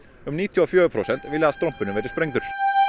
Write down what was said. um níutíu og fjögur prósent vilja að strompurinn verði sprengdur